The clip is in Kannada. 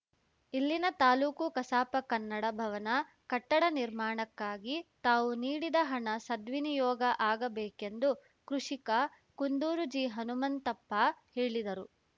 ಇಲ್ಲಿನ ತಾಲೂಕು ಕಸಾಪ ಕನ್ನಡ ಭವನ ಕಟ್ಟಡ ನಿರ್ಮಾಣಕ್ಕಾಗಿ ತಾವು ನೀಡಿದ ಹಣ ಸದ್ವಿನಿಯೋಗ ಆಗಬೇಕೆಂದು ಕೃಷಿಕ ಕುಂದೂರು ಜಿ ಹನುಮಂತಪ್ಪ ಹೇಳಿದರು